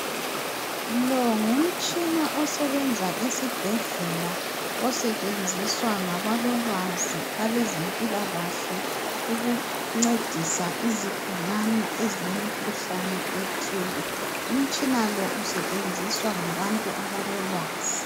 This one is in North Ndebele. Lo ngumtshina osebenza esibhedlela, osetshenziswa ngabalolwazi abezempilakahle ukuncedisa izigulane ezilemkhuhlane ethile. Umtshina lo usetshenziswa ngabantu abalolwazi.